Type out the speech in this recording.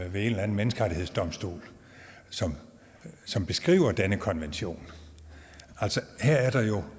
en eller anden menneskerettighedsdomstol som beskriver denne konvention altså her